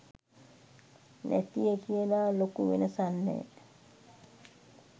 නැතිය කියලා ලොකු වෙනසක් නෑ